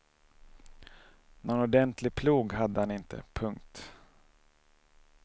Någon ordentlig plog hade han inte. punkt